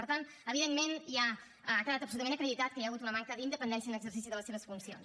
per tant evidentment ja ha quedat absolutament acreditat que hi ha hagut una manca d’independència en l’exercici de les seves funcions